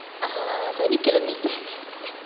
ஆஹ் சனிக்கிழமை